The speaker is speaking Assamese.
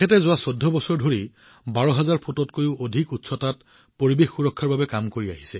যোৱা ১৪ বছৰ ধৰি তেওঁ ১২০০০ ফুটতকৈও অধিক উচ্চতাত পৰিৱেশ সুৰক্ষাৰ কামত নিয়োজিত হৈ আছে